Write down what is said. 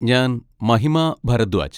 ഞാൻ മഹിമ ഭരദ്വാജ്.